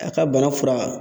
A ka bana fura